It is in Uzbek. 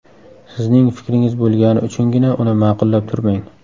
Sizning fikringiz bo‘lgani uchungina uni ma’qullab turmang.